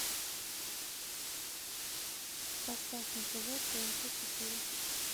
поставь на тв тнт четыре